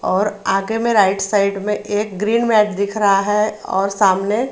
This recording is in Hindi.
और आगे मे राइट साइड मे एक ग्रीन मैट दिख रहा है और सामने--